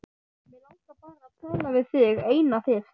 Mig langar bara til að tala við þig eina fyrst.